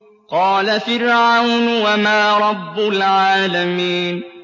قَالَ فِرْعَوْنُ وَمَا رَبُّ الْعَالَمِينَ